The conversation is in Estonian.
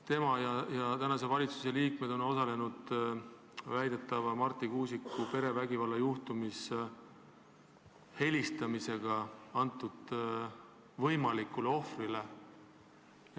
Tema ja teised tänase valitsuse liikmed on osalenud väidetavas Marti Kuusiku perevägivallajuhtumis võimalikule ohvrile helistamisega.